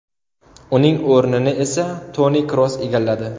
Uning o‘rnini esa Toni Kroos egalladi.